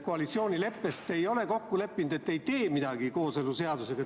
Koalitsioonileppes ei ole te kokku leppinud, et te ei tee midagi kooseluseadusega.